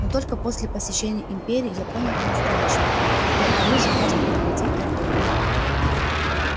но только после посещения империи я понял по-настоящему в какое оружие можно превратить торговлю